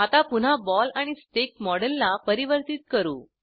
आता पुन्हा बॉल आणि स्टिक मॉडेलला परिवर्तीत करू